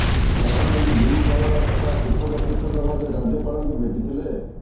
ଗତକାଲି ଦୁଇ ଦଳର ନେତା ପୃଥକ ପୃଥକ ଭାବେ ରାଜ୍ୟପାଳଙ୍କୁ ଭେଟିଥିଲେ